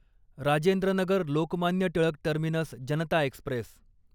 Rajendra Nagar Lokmanya Tilak terminus Janata Express